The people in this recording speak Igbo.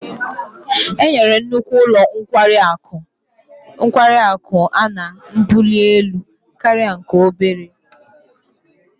Enyere nnukwu ụlọ nkwari akụ a mbuli elu karịa nke obere